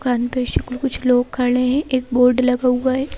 कुछ लोग खड़े है एक बोर्ड लगा हुआ है।